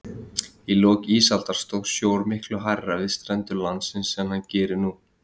Í lok ísaldar stóð sjór miklu hærra við strendur landsins en hann gerir nú.